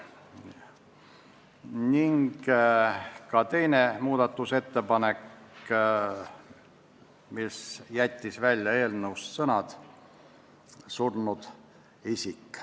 Sisse jäi ka teine muudatusettepanek, mis jättis eelnõust välja sõnad "surnud isik".